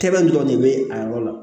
Tɛmɛn dɔrɔn de bɛ a yɔrɔ la